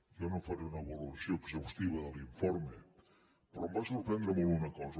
jo no faré una valoració exhaustiva de l’informe però me’n va sorprendre una cosa